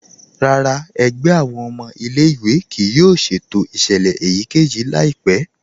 Rárá, ẹ̀gbẹ̀ awọn ọmọ ilẹ̀-ìwé kíì yóò ṣẹ̀tò iṣẹlẹ̀ èyíkẹ́yì laipẹ̀.